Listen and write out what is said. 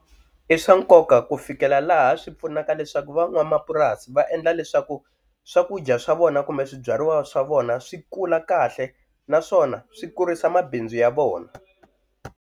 I swa nkoka ku fikela laha swi pfunaka leswaku van'wamapurasi va endla leswaku swakudya swa vona kumbe swibyariwa swa vona swi kula kahle naswona swi kurisa mabindzu ya vona.